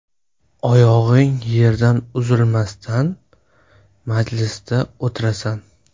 Oyog‘ing yerdan uzilmasdan, majlisda o‘tirasan.